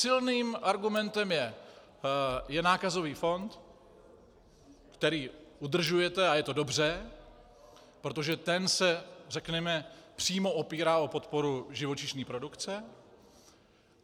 Silným argumentem je nákazový fond, který udržujete, a je to dobře, protože ten se řekněme přímo opírá o podporu živočišné produkce.